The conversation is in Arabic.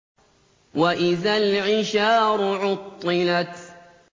وَإِذَا الْعِشَارُ عُطِّلَتْ